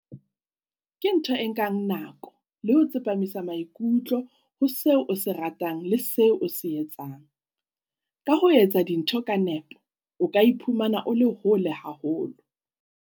Ke ntho e nkang nako le ho tsepamisa maikutlo ho seo o se ratang le seo o se etsang. Ka ho etsa dintho ka nepo, o ka iphumana o le hole haholo.